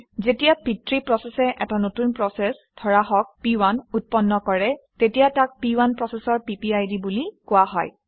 যেতিয়া পিতৃ প্ৰচেচে এটা নতুন প্ৰচেচ ধৰা হওক প1 উৎপন্ন কৰে তেতিয়া তাক প1 প্ৰচেচৰ পিপিআইডি বুলি কোৱা হয়